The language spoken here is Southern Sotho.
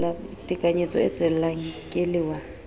tekanyetso e tswellang ke lewa